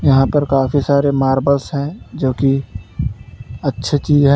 यहां पर काफी सारे मार्बल्स हैं जो कि अच्छे चीज हैं।